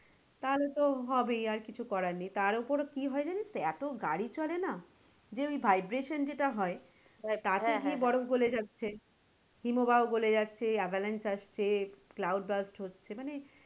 তাহলে তো হবেই আর কিছু করার নেই তার ওপর কি হয় জানিস তো এতো গাড়ি চলে না তার যে ওই vibration যেটা হয় বরফ গলে যাচ্ছে, হিমবাহ গলে যাচ্ছে হচ্ছে cloud blast হচ্ছে,